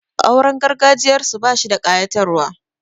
Auren gargajiyarsu bashi da ƙayatarwa.